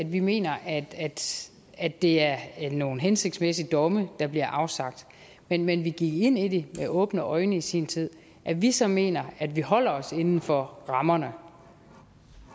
vi mener at at det er nogle hensigtsmæssige domme der bliver afsagt men men vi gik ind i det med åbne øjne i sin tid at vi så mener at vi holder os inden for rammerne